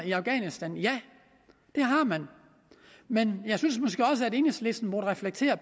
i afghanistan ja det har man men jeg synes måske også enhedslisten må reflektere